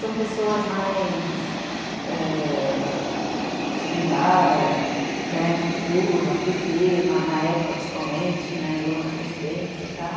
São pessoas mais... Che Guevara, Lula, pê tê, na época oficialmente, Lula na presidência e tal.